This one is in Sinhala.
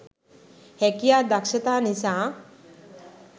හැකියා දක්‌ෂතා නිසා